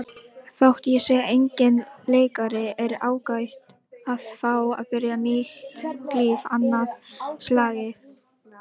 Þótt ég sé enginn leikari er ágætt að fá að byrja nýtt líf annað slagið.